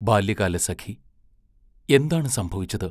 ബാല്യകാലസഖി എന്താണ് സംഭവിച്ചത്?